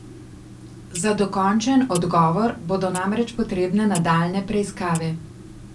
Za dokončen odgovor bodo namreč potrebne nadaljnje preiskave.